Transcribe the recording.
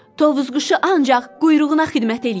Tovuzquşu ancaq quyruğuna xidmət eləyir.